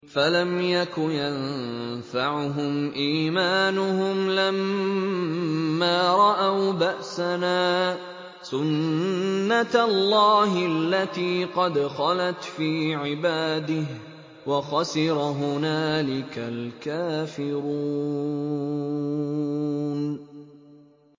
فَلَمْ يَكُ يَنفَعُهُمْ إِيمَانُهُمْ لَمَّا رَأَوْا بَأْسَنَا ۖ سُنَّتَ اللَّهِ الَّتِي قَدْ خَلَتْ فِي عِبَادِهِ ۖ وَخَسِرَ هُنَالِكَ الْكَافِرُونَ